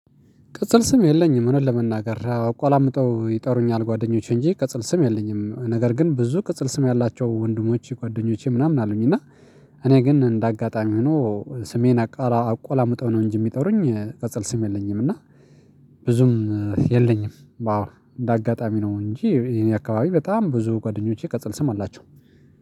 ቅጽል ስም የለኝም እውነት ለመናገር አቆላምጠው ይጠሩኛል ጓደኞቼ እንጂ ቅጽል ስም የለኝም ነገር ግን ብዙ ቅጽል ስም ያላቸው ወንድሞቼ ጓደኞቼ ምናምን አሉኝ እና እኔ ግን እንደ አጋጣሚ ሆኖ ስሜን አቆላምጠው ነው እንጂ የሚጠሩኝ ቅጽል ስም የለኝም እና ብዙም የለኝም። አዎ እንደ አጋጣሚ ነው እንጂ ይሄን አከባቢ በጣም ብዙ ጓደኞቼ ቅጽል ስም አላቸው